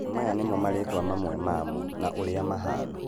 maya nĩmo marĩtwa mamwe mamo na ũrĩa mahana.